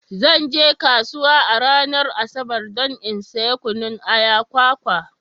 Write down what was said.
Zan je kasuwa a ranar Asabar don in saya kunun aya, kwakwa.